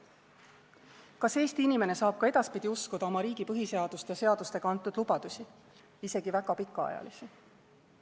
Kas Eesti inimene saab ka edaspidi uskuda oma riigi põhiseadust ja seadustega antud lubadusi, isegi väga pikaajalisi?